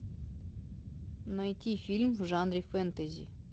найти фильм в жанре фэнтези